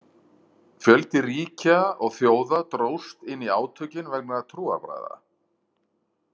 Fjöldi ríkja og þjóða dróst inn í átökin vegna trúarbragða.